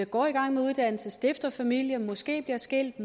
går i gang med uddannelse stifter familie bliver måske skilt